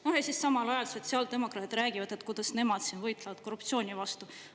No ja samal ajal sotsiaaldemokraadid räägivad, kuidas nemad siin võitlevad korruptsiooni vastu.